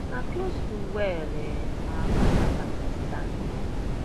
na close to well um our cassava dey stand